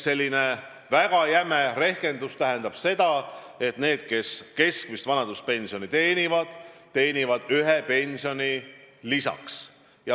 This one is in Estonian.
Selline väga jäme rehkendus tähendab seda, et need, kes keskmist vanaduspensioni saavad, saavad aastas ühe pensioni lisaks.